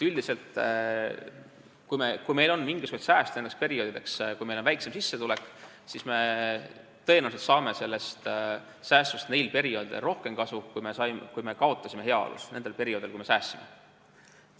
Üldiselt, kui meil on mingisuguseid sääste nendeks perioodideks, kui meil on väiksem sissetulek, siis tõenäoliselt saame säästudest neil perioodidel rohkem kasu, kui kaotasime heaolus neil perioodidel, kui me säästsime.